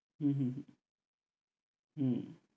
হম হম হম